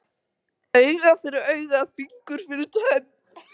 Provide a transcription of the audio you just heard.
Auga fyrir auga, fingur fyrir tönn.